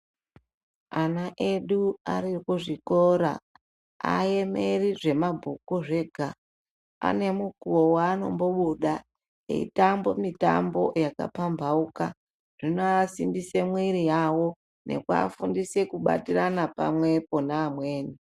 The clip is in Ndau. Ana edu ari kuzvikora aemeri zvemabhuku zvega, ane mukuwo waanombobuda eyitambe mitambo yakapambauka. Zvinoasimbise mwiri yavo nekuvafundisa kubatirana pamwepo neamweni.